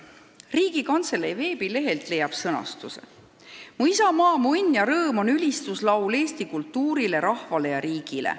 Riigikantselei veebilehelt leiab sõnastuse: ""Mu isamaa, mu õnn ja rõõm" on ülistuslaul Eesti kultuurile, rahvale ja riigile.